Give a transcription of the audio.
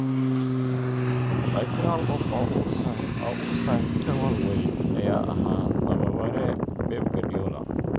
Laakiin hal qof oo uusan ka walwalin ayaa ahaa tababare Pep Guradiola.